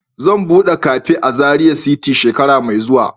Zan bude cafe a Zaria city shekara mai zuwa.